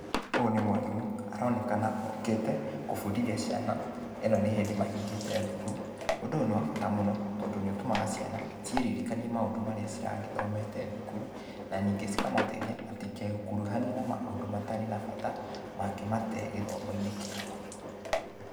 Ũyũ nĩ mwarimũ, aronekana okĩte, gũbundithia ciana. Ĩno nĩ hĩndĩ mahingĩte thukuru. Ũndũ ũyũ nĩ wa bata mũno, tondũ nĩ ũtũmaga cian,a ciĩririkanie maũndũ marĩa ciragĩthomete thukuru, na ningĩ cikamateithia, matikekuruhanie na maũndũ matarĩ na bata, mangĩmatee gĩthomo-inĩ kĩao.